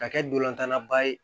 Ka kɛ dolan ba ye